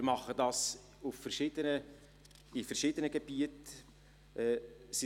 Wir machen dies in verschiedenen Gebieten;